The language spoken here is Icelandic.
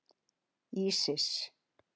Ísis